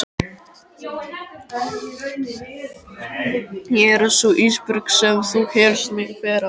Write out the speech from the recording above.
Ég er sú Ísbjörg sem þú hélst mig vera.